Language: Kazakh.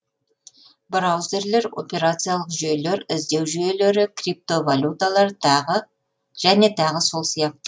браузерлер операциялық жүйелер іздеу жүйелері криптовалюталар тағы және тағы сол сияқты